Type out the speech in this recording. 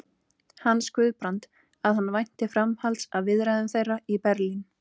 hans, Guðbrand, að hann vænti framhalds af viðræðum þeirra í Berlín.